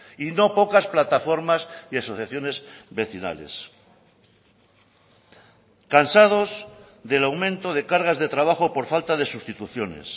y no pocas plataformas y asociaciones vecinales cansados del aumento de cargas de trabajo por falta de sustituciones